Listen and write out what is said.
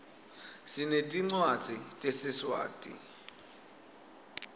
sinetincwadzi tesiswati